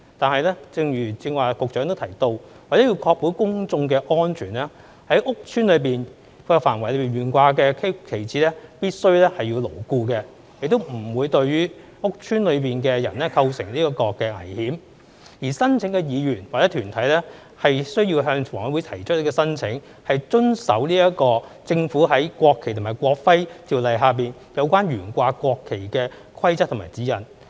但是，正如剛才局長亦提到，為確保公眾的安全，在公共屋邨範圍內懸掛的旗幟必須牢固，亦不會對於屋邨內的人構成危險；而申請的議員或團體需要向房委會提出申請，遵守政府在《國旗及國徽條例》下有關懸掛國旗的規則和指引。